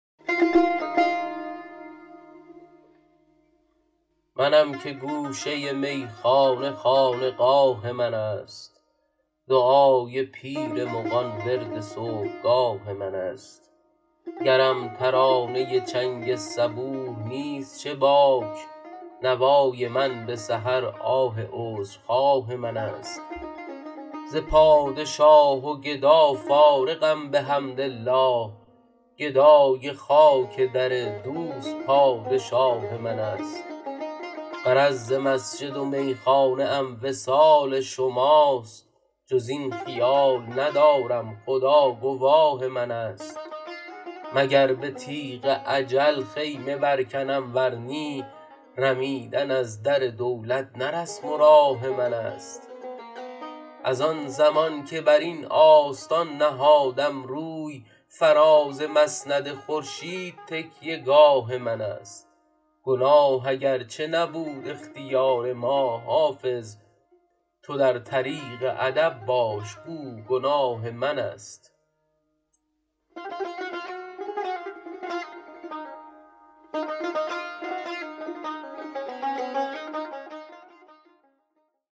منم که گوشه میخانه خانقاه من است دعای پیر مغان ورد صبحگاه من است گرم ترانه چنگ صبوح نیست چه باک نوای من به سحر آه عذرخواه من است ز پادشاه و گدا فارغم بحمدالله گدای خاک در دوست پادشاه من است غرض ز مسجد و میخانه ام وصال شماست جز این خیال ندارم خدا گواه من است مگر به تیغ اجل خیمه برکنم ور نی رمیدن از در دولت نه رسم و راه من است از آن زمان که بر این آستان نهادم روی فراز مسند خورشید تکیه گاه من است گناه اگرچه نبود اختیار ما حافظ تو در طریق ادب باش گو گناه من است